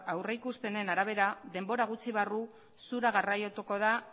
aurrikuspenen arabera denbora gutxi barru zura garraiatuko da